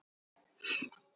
Það varð ofan á.